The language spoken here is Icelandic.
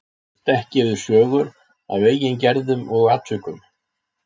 Hann kannast ekki við sögur af eigin gerðum og atvikum.